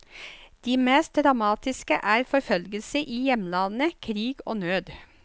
De mest dramatiske er forfølgelse i hjemlandet, krig og nød.